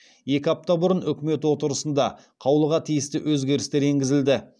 екі апта бұрын үкімет отырысында қаулыға тиісті өзгерістер енгізілді